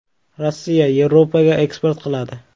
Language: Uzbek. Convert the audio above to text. Rossiya, Yevropaga eksport qiladi.